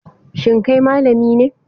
Shin kai malami ne?